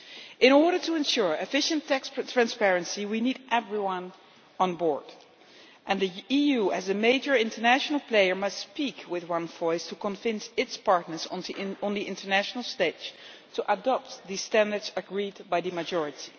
In order to ensure efficient tax transparency, we need everyone on board, and the EU, as a major international player, must speak with one voice to convince its partners on the international stage to adopt the standards agreed by the majority.